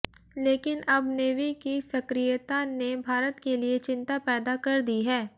लेकिन अब नेवी की सक्रियता ने भारत के लिए चिंता पैदा कर दी हैं